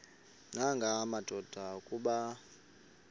nanga madoda kuba